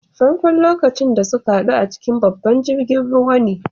Farko'n lokacin da sun haddu a cikin babban jirigin ruwa ne.